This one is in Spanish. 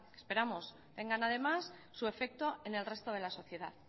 esperamos tengan además su efecto en el resto de la sociedad